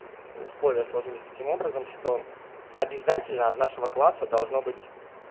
условия сложились таким образом что обязательно от нашего класса должно быть